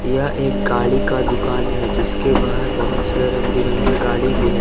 यह एक गाड़ी का दुकान है जिसके बाहर बहुत से रंग बिरंगे गाड़ी भी है।